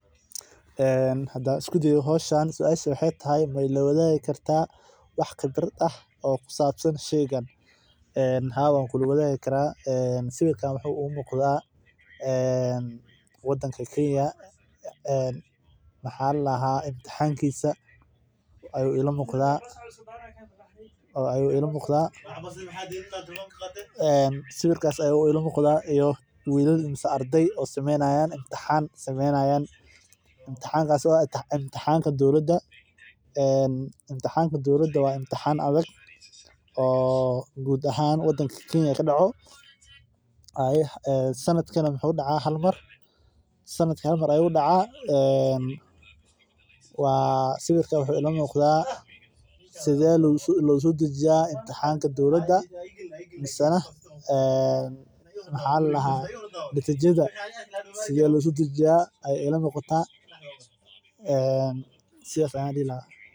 Hadaan isku dayo howshan suasha waxeey tahay maila wadaagi kartaa wax khibrad ah aan kusabsan sheeygan waa imtixaanka kenya waxeey oo wiilal sameyni haaya waa imtixaan adag sanadki hal mar ayuu dacaa qabka telefonka loo isticmaalo cunooyinka ufican tahay wadnaha iyo kansarka qaarkood masdulaagi waxeey leeyihiin faidoyin badan laga helo sir fudud lakin marki lakariyo waxaay tahay waziirka disida jidka ayaa lagu darsadaa suugada hilibka xoolaha.